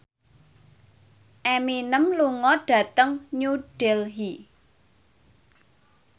Eminem lunga dhateng New Delhi